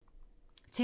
TV 2